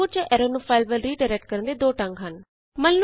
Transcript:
output ਜਾਂ error ਨੂੰ ਇਕ ਫਾਈਲ ਵੱਲ ਰੀਡਾਇਰੈਕਟ ਕਰਨ ਦੇ ਦੋ ਢੰਗ ਹਨ